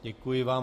Děkuji vám.